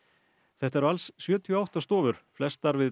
þetta eru alls sjötíu og átta stofur flestar við